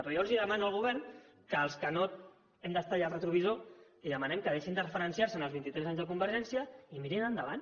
però jo demano al govern que als que no hem d’estar allà al retrovisor li demanem que deixin de referenciar se en els vint i tres anys de convergència i que mirin endavant